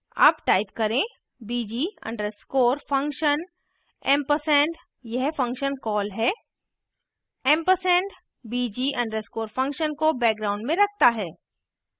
अब type करें bg underscore function ampersand & यह function कॉल है & ampersand bg _ function को background में रखता है